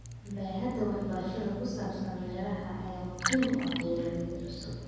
Baaxadda waxbarashada ku saabsan beeraha ayaa muhiim u ah beeralayda cusub.